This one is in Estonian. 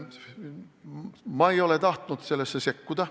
Ma ei ole tahtnud sellesse sekkuda.